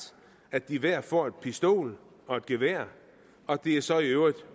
at de hver får en pistol og et gevær og at de så i øvrigt